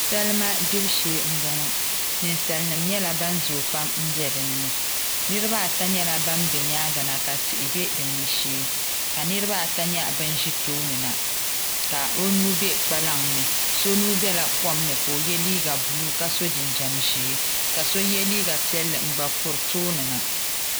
salima gbibu shee m-bɔŋɔ ninsalinima nyɛla ban zooi pam m-be din ni niriba ata nyɛla ban be nyaaŋa na ka tihi din ni shee ka niriba ata nyaɣi bin ʒi tooni na ka o nua be kpalaŋa ni so nua bela kom ni ka o ye liiga buluu ka so jinjam ʒee ka liiga piɛlli n-ghan-kuri tooni na